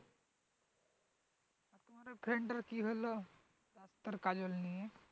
তোর friend তার কি হলো? তোর কাজল নিয়ে?